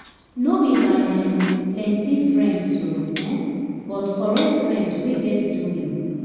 no bi by um plenti friends o um but korekt friends wey get doings